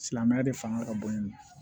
Silamɛya de fanga ka bon ni ye